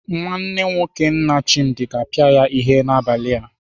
Nwanne nwoke nna Chimdi ga-apịa ya ihe n'abalị a.